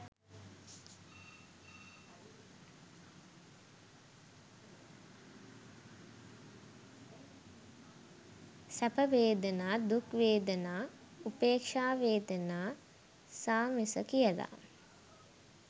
සැප වේදනා දුක් වේදනා උපේක්ෂා වේදනා සාමිස කියල